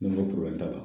N'o t'a la